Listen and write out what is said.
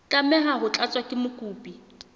tlameha ho tlatswa ke mokopi